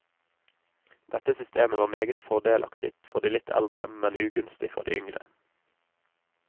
Dette systemet var meget fordelaktig for de litt eldre, men ugunstig for de yngre.